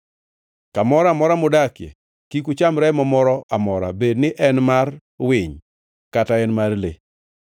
Ka moro amora mudakie, kik ucham remo moro amora bed ni en mar winy kata en mar le.